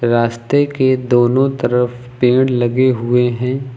रास्ते के दोनों तरफ पेड़ लगे हुए हैं।